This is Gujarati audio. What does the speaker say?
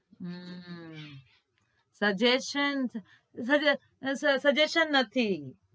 હમ suggestion ઉભો રહે suggestion નથી